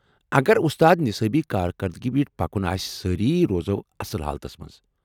اگر اُستاد نِصٲبی كاركردگی پیٹھ پكو سٲری روزو اصل حالتس منز ۔